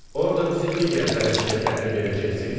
Orda bizi digər bələdçiyə təhvil verəcəksiz?